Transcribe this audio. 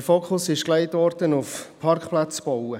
Der Fokus wurde auf den Bau von Parkplätzen gelegt.